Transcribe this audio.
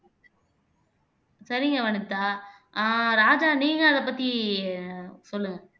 சரிங்க வனிதா ஆஹ் ராஜா நீங்க அதைப்பத்தி சொல்லுங்க